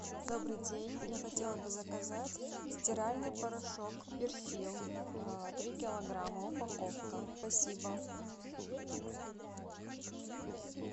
добрый день я хотела бы заказать стиральный порошок персил три килограмма упаковка спасибо